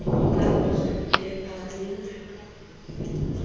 ba ba ne ba le